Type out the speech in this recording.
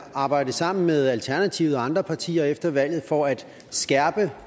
arbejde sammen med alternativet og andre partier efter valget for at skærpe